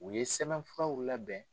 U ye sɛbɛn furaw labɛn.